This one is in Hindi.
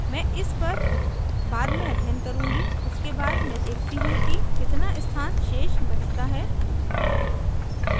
मैं इस पर बाद में अध्ययन करुँगी उसके बाद मैं देखती how कि कितना स्थान शेष बचता है